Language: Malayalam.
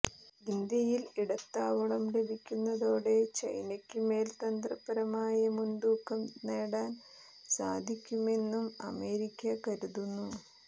ഇന്ത്യയിൽ ഇടത്താവളം ലഭിക്കുന്നതോടെ ചൈനയ്ക്ക് മേൽ തന്ത്രപരമായ മുൻതൂക്കം നേടാൻ സാധിക്കുമെന്നും അമേരിക്ക കരുതുന്നു